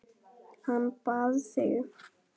Hann bað þig.